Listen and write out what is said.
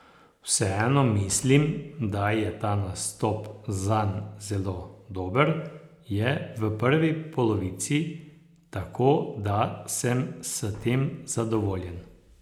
Vseeno mislim, da je ta nastop zanj zelo dober, je v prvi polovici, tako da sem s tem zadovoljen.